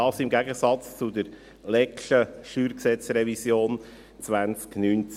Dies im Gegensatz zur letzten StG-Revision 2019.